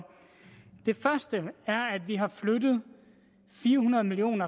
det første er at vi har flyttet fire hundrede million